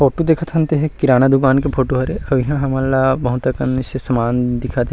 Photo देखत हन ते ह एक किराना दुकान के फोटो हरे अउ इहा हमन ला बहुत अकन से सामान दिखत हे।